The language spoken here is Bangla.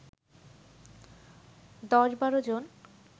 ১০-১২ জন